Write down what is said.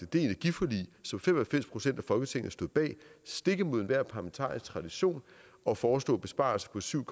det energiforlig som fem og halvfems procent af folketinget stod bag stik imod enhver parlamentarisk tradition og foreslå besparelser på syv